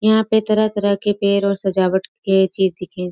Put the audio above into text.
यहाँ पे तरह-तरह के पेड़ और सजावट के चीज दिखें --